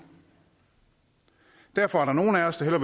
derfor er der nogle af os der